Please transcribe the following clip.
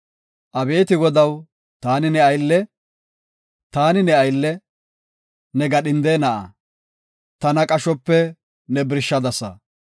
Abeeti Godaw, taani ne aylle; taani ne aylle, ne gadhinde na7aa; tana qashope ne birshadasa.